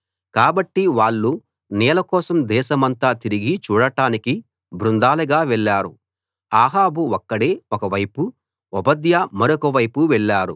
కాబట్టి వాళ్ళు నీళ్ళ కోసం దేశమంతా తిరగి చూడడానికి బృందాలుగా వెళ్ళారు అహాబు ఒక్కడే ఒక వైపూ ఓబద్యా మరొక వైపూ వెళ్ళారు